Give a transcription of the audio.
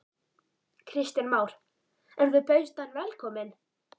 Kristján Már: En þú bauðst hann velkomin?